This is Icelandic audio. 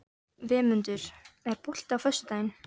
Vémundur, er bolti á föstudaginn?